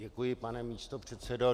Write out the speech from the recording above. Děkuji, pane místopředsedo.